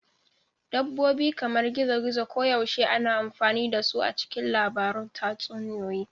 Dabbobi kamar gizo-gizo koyaushe ana amfani da su a cikin labarun tatsuniyoyi.